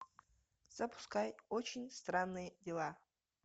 запускай очень странные дела